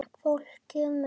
Fólkið mitt